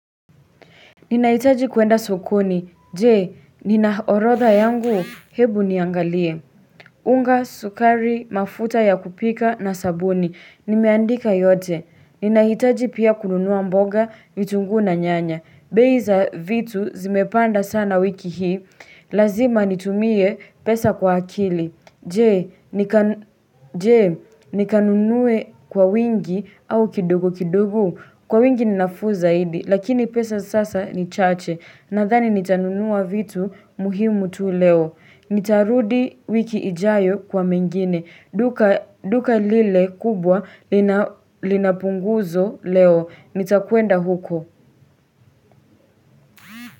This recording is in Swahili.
Ninahitaji kwenda sokoni, je, ninaorodha yangu, hebu niangalie unga, sukari, mafuta ya kupika na sabuni, nimeandika yote Ninahitaji pia kununua mboga, vitunguu na nyanya bei za vitu zimepanda sana wiki hii, lazima nitumie pesa kwa akili Je, nikanunue kwa wingi au kidogo kidogo Kwa wingi ni nafuu zaidi, lakini pesa sasa ni chache. Nadhani nitanunua vitu muhimu tu leo. Nitarudi wiki ijayo kwa mengine. Duka lile kubwa linapunguzo leo. Nitakwenda huko.